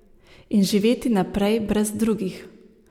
In živeti naprej brez drugih.